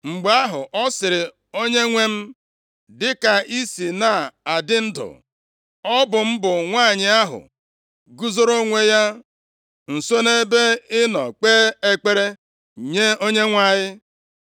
Mgbe ahụ, ọ sịrị, “Onyenwe m, dịka ị si na-adị ndụ, ọ bụ m bụ nwanyị ahụ guzoro onwe ya nso nʼebe ị nọ kpee ekpere nye Onyenwe anyị.